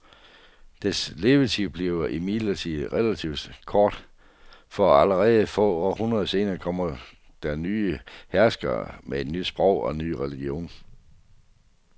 Dets levetid bliver imidlertid relativt kort, for allerede få århundreder senere kommer der nye herskere med et nyt sprog og en ny religion.